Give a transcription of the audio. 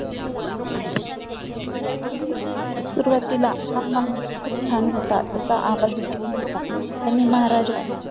सुरुवातीला हा माणूस खूप छान होता त्याचा आवाज खूप गोड होता त्यांनी महाराजा